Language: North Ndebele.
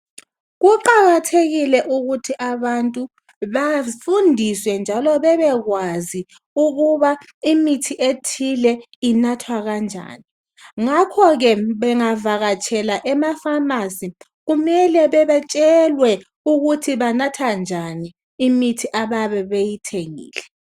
Kuqakathekile ukuthi abantu bafundiswe njalo bebekwazi ukuba imithi ethile inathwa kanjani ngakho ke bengavakatshela emafamasi kumele betshelwe ukuthi banatha njani imithi abayabe beyithengile